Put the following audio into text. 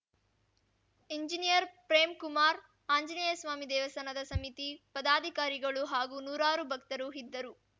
engineer Premkumar Anjaneyaswami ದೇವಸ್ಥಾನದ ಸಮಿತಿ ಪದಾಧಿಕಾರಿಗಳು ಹಾಗೂ ನೂರಾರು ಭಕ್ತರು ಇದ್ದರು